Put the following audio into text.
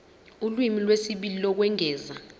ulimi lwesibili lokwengeza